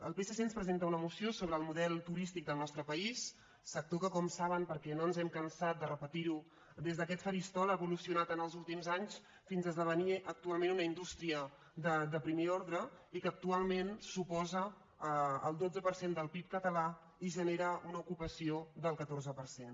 el psc ens presenta una moció sobre el model turístic del nostre país sector que com saben perquè no ens hem cansat de repetir·ho des d’aquest faristol ha evolucionat en els últims anys fins a esde·venir actualment una indústria de primer ordre que actualment suposa el dotze per cent del pib català i gene·ra una ocupació del catorze per cent